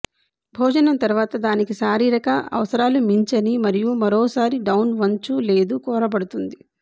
భోజనం తర్వాత దానికి శారీరక అవసరాలు మించని మరియు మరోసారి డౌన్ వంచు లేదు కోరబడుతుంది